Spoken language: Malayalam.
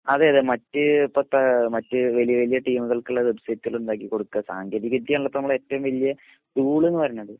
അതേയതെ മറ്റ് ഇപ്പോത്തെ മറ്റ് വലിയ വലിയ ടീമുകൾകുള്ള വെബ്സൈറ്റ് ഉണ്ടാക്കി കൊടുക്കേ സാങ്കേതിക വിദ്യ അണല്ലോ ഇപ്പൊ നമ്മളെ ഏറ്റവും വല്യ പൂള്ന്ന് പറയുന്നത്